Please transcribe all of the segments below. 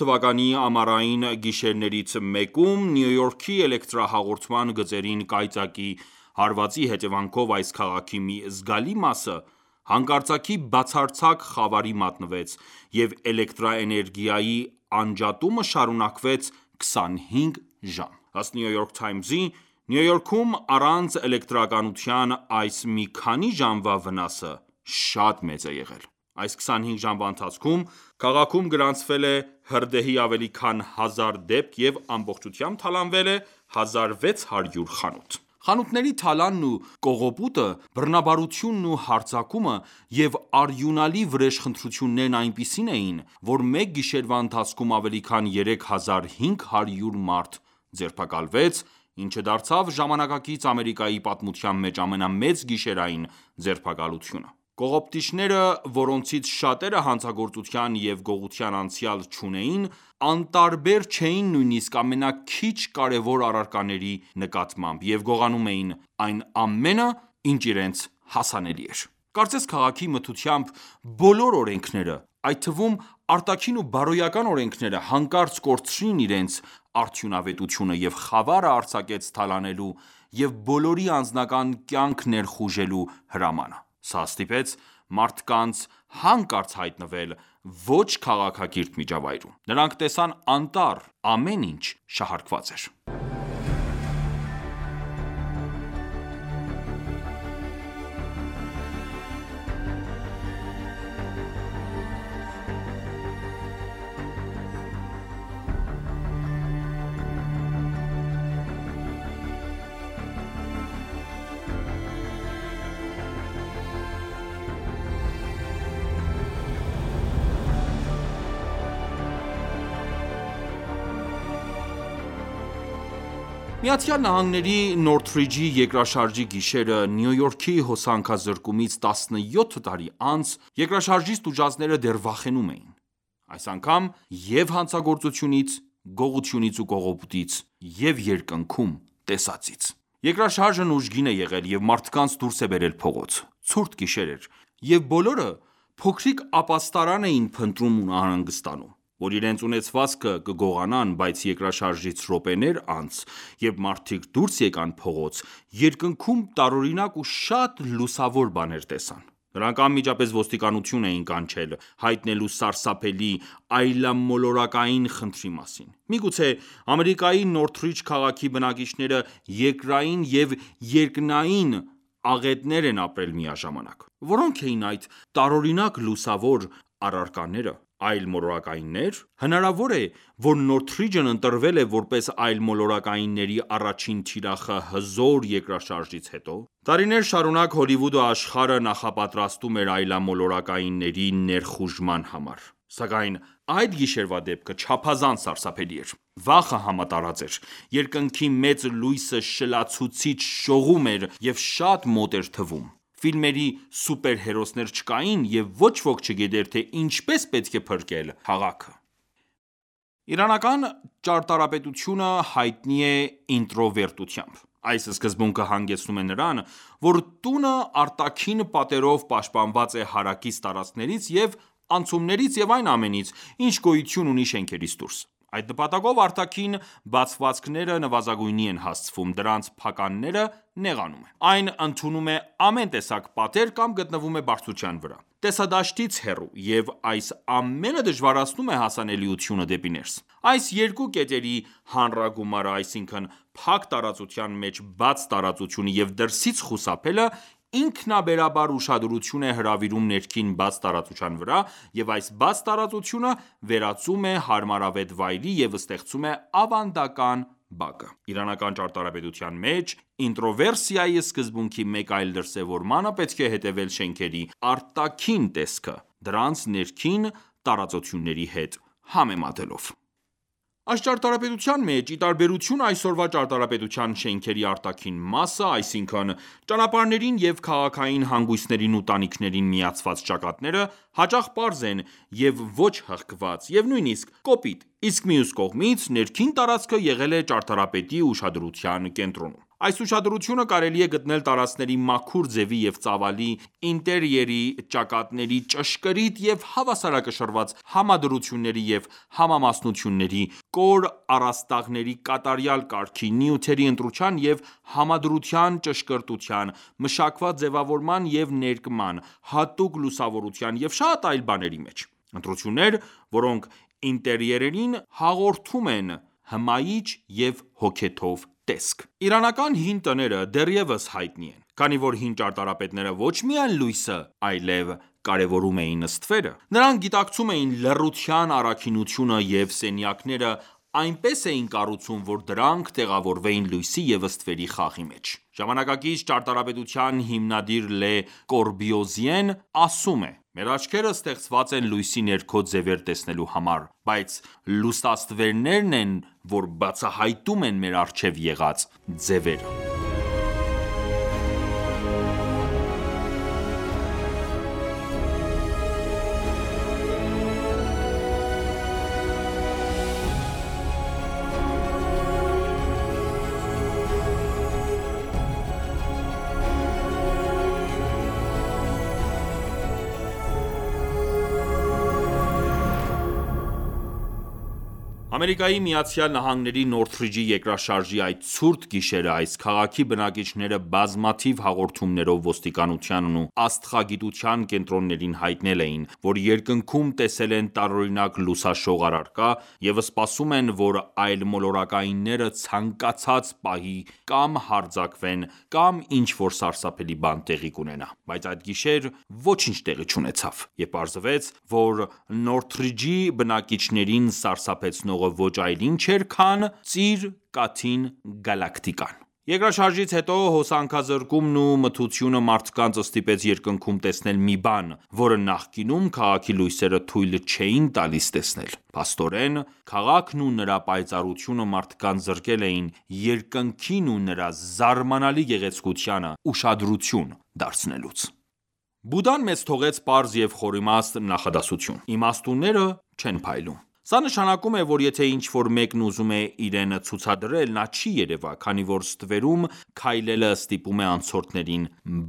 թվականի ամառային գիշերներից մեկում Նյու Յորքի էլեկտրահաղորդման գծերին կայծակի հարվածի հետևանքով այս քաղաքի մի զգալի մասը հանկարծակի բացարձակ խավարի մատնվեց և էլեկտրաէներգիայի անջատումը շարունակվեց 25 ժամ։ Ըստ New York Times-ի՝ Նյու Յորքում առանց էլեկտրականության այս մի քանի ժամվա վնասը շատ մեծ է եղել։ Այս 25 ժամվա ընթացքում քաղաքում գրանցվել է հրդեհի ավելի քան հազար դեպք և ամբողջությամբ թալանվել է 1600 խանութ։ Խանութների թալանն ու կողոպուտը, բռնաբարությունն ու հարձակումը և արյունալի վրեժխնդրություններն այնպիսին էին, որ մեկ գիշերվա ընթացքում ավելի քան 3500 մարդ ձերբակալվեց, ինչը դարձավ ժամանակակից Ամերիկայի պատմության մեջ ամենամեծ գիշերային ձերբակալությունը: Կողոպտիչները, որոնցից շատերը հանցագործության և գողության անցյալ չունեին, անտարբեր չէին նույնիսկ ամենաքիչ կարևոր առարկաների նկատմամբ և գողանում էին այն ամենը, ինչ իրենց հասանելի էր։ Կարծես քաղաքի մթությամբ բոլոր օրենքները, այդ թվում՝ արտաքին ու բարոյական օրենքները, հանկարծ կորցրին իրենց արդյունավետությունը, և խավարը արձակեց թալանելու և բոլորի անձնական կյանք ներխուժելու հրամանը։ Սա ստիպեց մարդկանց հանկարծ հայտնվել ոչ քաղաքակիրթ միջավայրում: Նրանք տեսան անտառ։ Ամեն ինչ շահարկված էր։ ԱՄՆ-ի Նորթրիջի երկրաշարժի գիշերը՝ Նյու Յորքի հոսանքազրկումից 17 տարի անց, երկրաշարժից տուժածները դեռ վախենում էին։ Այս անգամ և՛ հանցագործությունից, գողությունից ու կողոպուտից, և՛ երկնքում տեսածից։ Երկրաշարժն ուժգին է եղել և մարդկանց դուրս է բերել փողոց։ Ցուրտ գիշեր էր, և բոլորը փոքրիկ ապաստարան էին փնտրում ու անհանգստանում, որ իրենց ունեցվածքը կգողանան, բայց երկրաշարժից րոպեներ անց, երբ մարդիկ դուրս եկան փողոց, երկնքում տարօրինակ ու շատ լուսավոր բաներ տեսան։ Նրանք անմիջապես ոստիկանություն են կանչել՝ հայտնելու սարսափելի, այլմոլորակային խնդրի մասին: Միգուցե Ամերիկայի Նորթրիջ քաղաքի բնակիչները երկրային և երկնային աղետներ են ապրել միաժամանակ։ Որո՞նք էին այդ տարօրինակ լուսավոր առարկաները: Այլմոլորակայիննե՞ր: Հնարավո՞ր է, որ Նորթրիջն ընտրվել է որպես այլմոլորակայինների առաջին թիրախը հզոր երկրաշարժից հետո: Տարիներ շարունակ Հոլիվուդը աշխարհը նախապատրաստում էր այլմոլորակայինների ներխուժման համար, սակայն այդ գիշերվա դեպքը չափազանց սարսափելի էր։ Վախը համատարած էր։ Երկնքի մեծ լույսը շլացուցիչ շողում էր և շատ մոտ էր թվում։ Ֆիլմերի սուպերհերոսներ չկային, և ոչ ոք չգիտեր, թե ինչպես պետք է փրկել քաղաքը։ Իրանական ճարտարապետությունը հայտնի է ինտրովերտությամբ։ Այս սկզբունքը հանգեցնում է նրան, որ տունը արտաքին պատերով պաշտպանված է հարակից տարածքներից և անցումներից և այն ամենից, ինչ գոյություն ունի շենքից դուրս: Այդ նպատակով արտաքին բացվածքները նվազագույնի են հասցվում, դրանց փականները նեղանում են: Այն ընդունում է ամեն տեսակ պատեր կամ գտնվում է բարձրության վրա, տեսադաշտից հեռու, և այս ամենը դժվարացնում է հասանելությունը դեպի ներս: Այս երկու կետերի հանրագումարը, այսինքն՝ փակ տարածության մեջ բաց տարածությունը և դրսից խուսափելը, ինքնաբերաբար ուշադրություն է հրավիրում ներքին բաց տարածության վրա և այս բաց տարածությունը վերածում է հարմարավետ վայրի, և ստեղծում է ավանդական բակը: Իրանական ճարտարապետության մեջ ինտրովերսիայի սկզբունքի մեկ այլ դրսևորմանը պետք է հետևել շենքերի արտաքին տեսքը դրանց ներքին տարածությունների հետ համեմատելով: Այս ճարտարապետության մեջ, ի տարբերություն այսօրվա ճարտարապետության, շենքերի արտաքին մասը, այսինքն՝ ճանապարհներին և քաղաքային հանգույցներին ու տանիքներին միացված ճակատները, հաճախ պարզ են, և ոչ-հղկված և նույնիսկ կոպիտ, իսկ մյուս կողմից՝ ներքին տարածքը եղել է ճարտարապետի ուշադրության կենտրոնում: Այս ուշադրությունը կարելի է գտնել տարածքների մաքուր ձևի և ծավալի, ինտերիերի ճակատների ճշգրիտ և հավասարակշռված համադրությունների և համամասնությունների, կոր առաստաղների կատարյալ կարգի, նյութերի ընտրության և համադրության ճշգրտության, մշակված ձևավորման և ներկման, հատուկ լուսավորության և շատ այլ բաների մեջ։ Ընտրություններ, որոնք ինտերիերին հաղորդում են հմայիչ և հոգեթով տեսք: Իրանական հին տները դեռևս հայտնի են, քանի որ հին ճարտարապետները ոչ միայն լույսը այլև կարևորում էին ստվերը: Նրանք գիտակցում էին լռության առաքինությունը և սենյակները այնպես էին կառուցում, որ դրանք տեղավորվեին լույսի և ստվերի խաղի մեջ։ Ժամանակակից ճարտարապետության հիմնադիր Լե Կորբյուզիեն ասում է՝ «Մեր աչքերը ստեղծված են լույսի ներքո ձևեր տեսնելու համար, բայց լուսաստվերներն են, որ բացահայտում են մեր առջև եղած ձևերը»: ԱՄՆ-ի Նոթրիջի երկրաշարժի այդ ցուրտ գիշերը այս քաղաքի բնակիչները բազմաթիվ հաղորդումներով ոստիկանությանն ու աստղագիտության կենտրոններին հայտնել էին, որ երկնքում տեսել են տարօրինակ լուսաշող առարկա, և սպասում են, որ այլմոլորակայինները ցանկացած պահի կամ հարձակվեն կամ ինչ-որ սարսափելի բան տեղի կունենա: Բայց այդ գիշեր ոչինչ տեղի չունեցավ, և պարզվեց, որ Նոթրիջի բնակիչներին սարսափեցնողը ոչ այլ ինչ էր, քան Ծիր Կաթին Գալակտիկան: Երկրաշարժից հետո հոսանքազրկումն ու մթությունը մարդկանց ստիպեց երկնքում տեսնել մի բան, որը նախկինում քաղաքի լույսերը թույլ չէին տալիս տեսնել։ Փաստորեն, քաղաքն ու նրա պայծառությունը մարդկանց զրկել էին երկնքին ու նրա զարմանալի գեղեցկությանը ուշադրություն դարձնելուց։ Բուդդան մեզ թողեց պարզ և խորիմաստ նախադասություն. իմաստունները չեն փայլում: Սա նշանակում է, որ եթե ինչ-որ մեկն ուզում է իրեն ցուցադրել, նա չի երևա, քանի որ ստվերում քայլելը ստիպում է անցորդներին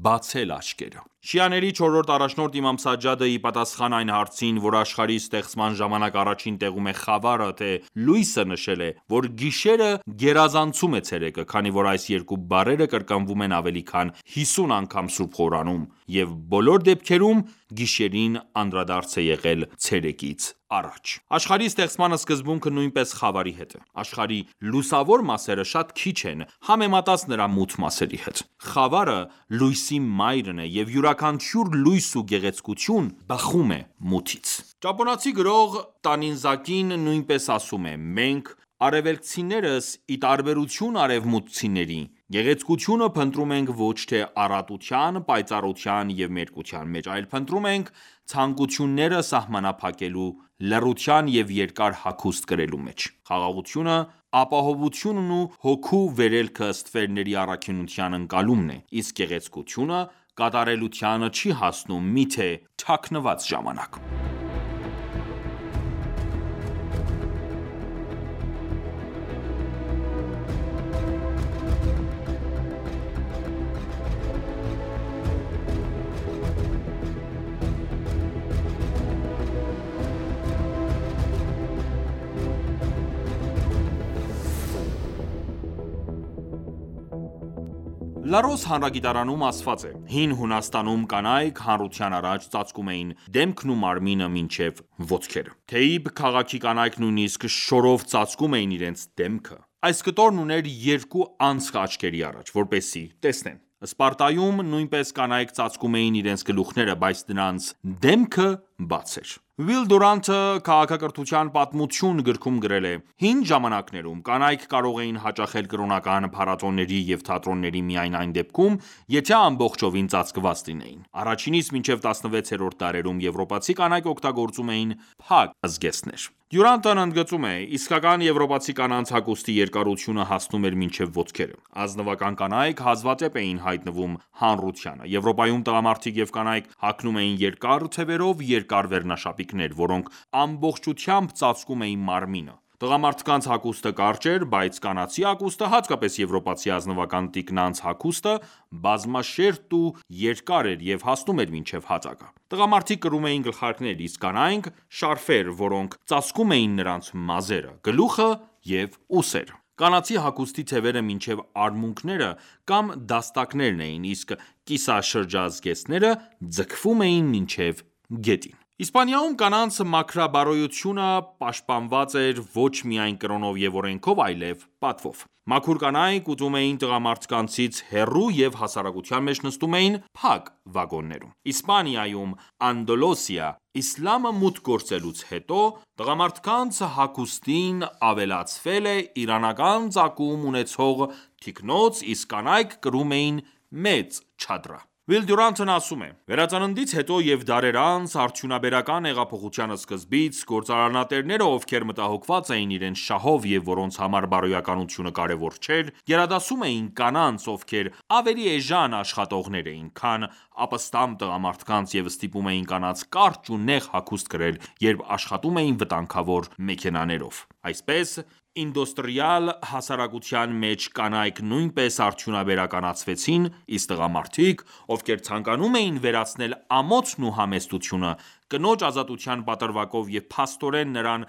բացել աչքերը։ Շիաների չորրորդ առաջնորդ Իմամ Սաջադը, ի պատասխան այն հարցին, որ աշխարհի ստեղծման ժամանակ առաջին տեղում է խավարը թե լույսը, նշել է, որ գիշերը գերազանցում է ցերեկը, քանի որ այս երկու բառերը կրկնվում են ավելի քան հիսուն անգամ սուրբ Ղուրանում, և բոլոր դեպքերում գիշերին անդրադարձ է եղել ցերեկից առաջ: Աշխարհի ստեղծման սկզբունքը նույնպես խավարի հետ է։. Աշխարհի լուսավոր մասերը շատ քիչ են՝ համեմատած նրա մութ մասերի հետ։ Խավարը լույսի մայրն է, և յուրաքանչյուր լույս ու գեղեցկություն բխում է մութից: Ճապոնացի գրող Տանիզակին նույնպես ասում է. «Մենք՝ արևելքցիներս, ի տարբերություն արևմուտքցիների, գեղեցկությունը փնտրում ենք ոչ թե առատության, պայծառության և մերկության մեջ, այլ փնտրում ենք ցանկությունները սահմանափակելու, լռության և երկար հագուստ կրելու մեջ։ Խաղաղությունը, ապահովությունն ու հոգու վերելքը ստվերների առաքինության ընկալումն է, իսկ գեղեցկությունը կատարելության չի հասնում, միթե թաքնված ժամանակ»: «Լարոս» հանրագիտարանում ասված է. «Հին Հունաստանում կանայք հանրության առաջ ծածկում էին դեմքն ու մարմինը մինչև ոտքերը։ Թեբե քաղաքի կանայք նույնիսկ շորով ծածկում էին իրենց դեմքը։ Այս կտորն ուներ երկու անցք աչքերի առաջ, որպեսզի տեսնեն։ Սպարտայում նույնպես կանայք ծածկում էին իրենց գլուխները, բայց նրանց դեմքը բաց էր։ Ուիլ Դյուրանտը «Քաղաքակրթության պատմություն» գրքում գրել է. «Հին ժամանակներում կանայք կարող էին հաճախել կրոնական փառատոների և թատրոնների միայն այն դեպքում, եթե ամբողջովին ծածկված լինեին: Առաջինից մինչև 16-րդ դարերում եվրոպացի կանայք օգտագործում էին փակ զգեստներ»։ Դյուրանտն ընդգծում է. «Իսկական եվրոպացի կանանց հագուստի երկարությունը հասնում էր մինչև ոտքերը։ Ազնվական կանայք հազվադեպ էին հայտնվում հանրությանը։ Եվրոպայում տղամարդիկ և կանայք հագնում էին երկար թեւերով երկար վերնաշապիկներ, որոնք ամբողջությամբ ծածկում էին մարմինը։ Տղամարդկանց հագուստը կարճ էր, բայց կանացի հագուստը, հատկապես եվրոպացի ազնվական տիկնանց հագուստը, բազմաշերտ ու երկար էր և հասնում էր մինչև հատակը։ Տղամարդիկ կրում էին գլխարկներ, իսկ կանայք՝ շարֆեր, որոնք ծածկում էին նրանց մազերը, գլուխը և ուսերը։ Կանացի հագուստի թևերը մինչև արմունկները կամ դաստակներն էին, իսկ կիսաշրջազգեստները՝ ձգվում էին մինչև գետին»։ Իսպանիայում կանանց մաքրաբարոյությունը պաշտպանված էր ոչ միայն կրոնով և օրենքով, այլև պատվով: Մաքուր կանայք ուտում էին տղամարդկանցից հեռու և հասարակության մեջ նստում էին փակ վագոններում: Իսպանիայում (Անդալուսիա) իսլամը մուտք գործելուց հետո, տղամարդկանց հագուստին ավելացվել է իրանական ծագում ունեցող թիկնոց, իսկ կանայք կրում էին մեծ չադրա։ Ուիլ Դյուրանտն ասում է. «Վերածննդից հետո և դարեր անց՝ արդյունաբերական հեղափոխության սկզբից, գործարանատերերը, ովքեր մտահոգված էին իրենց շահով և որոնց համար բարոյականությունը կարևոր չէր, գերադասում էին կանանց, ովքեր ավելի էժան աշխատողներ էին, քան ապստամբ տղամարդկանց և ստիպում էին կանանց կարճ ու նեղ հագուստ կրել, երբ աշխատում էին վտանգավոր մեքենաներով: Այսպես ինդուստրիալ հասարակության մեջ կանայք նույնպես արդյունաբերականացվեցին, իսկ տղամարդիկ, ովքեր ցանկանում էին վերացնել ամոթն ու համեստությունը՝ կնոջ ազատության պատրվակով և փաստորեն նրան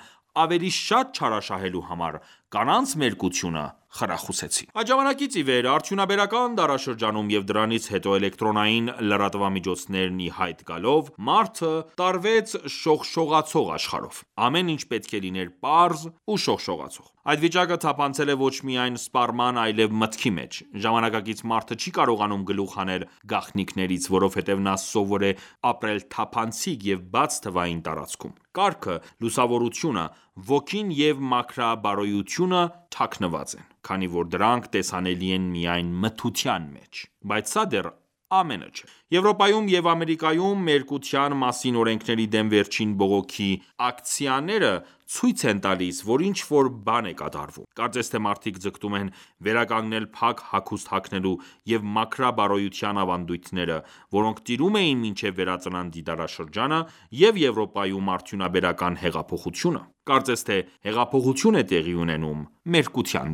ավելի շատ չարաշահելու համար, կանանց մերկությունը խրախուսեցին»։ Այդ ժամանակից ի վեր, արդյունաբերական դարաշրջանում և դրանից հետո էլեկտրոնային լրատվամիջոցներն ի հայտ գալով, մարդը տարվեց շողշողացող աշխարհով: Ամեն ինչ պետք է լիներ պարզ ու շողշողացող: Այդ վիճակը թափանցել է ոչ միայն սպառման, այլեւ մտքի մեջ։ Ժամանակակից մարդը չի կարողանում գլուխ հանել գաղտնիքներից։ Որովհետև նա սովոր է ապրել թափանցիկ և բաց թվային տարածքում։ Կարգը, լուսավորությունը, ոգին և մաքրաբարոյությունը թաքնված են, քանի որ դրանք տեսանելի են միայն մթության մեջ: Բայց սա դեռ ամենը չէ: Եվրոպայում և Ամերիկայում մերկության մասին օրենքների դեմ վերջին բողոքի ակցիաները ցույց են տալիս, որ ինչ-որ բան է կատարվում: Կարծես թե մարդիկ ձգտում են վերականգնել փակ հագուստ հագնելու և մաքրաբարոյության ավանդույթները, որոնք տիրում էին մինչև Վերածննդի դարաշրջանը և Եվրոպայում արդյունաբերական հեղափոխությունը: Կարծես թե հեղափոխություն է տեղի ունենում մերկության